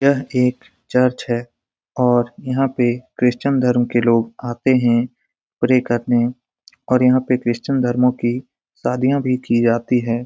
यह एक चर्च है और यहाँ पे क्रिस्चियन धर्म के लोग आते हैं। प्रे करने और यहाँ पे क्रिस्चियन धर्मो की शादियाँ भी की जाती है।